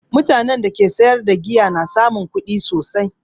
Mutanen da ke sayar da giya na samun kuɗi sosai